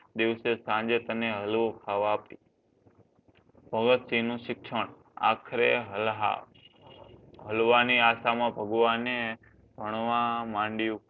દિવસે તને સાંજે હલવો ખાવા આપીશ. ભગતસિંહનું શિક્ષણ આખરે હાલ્હા હલવાની આશામાં ભગવાને ભણવા મંડ્યો.